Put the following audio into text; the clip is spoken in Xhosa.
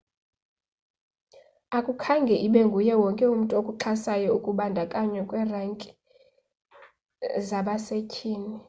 akukhange ibe nguye wonke okuxhasayo ukubandakanywa kwe renki zabasethyini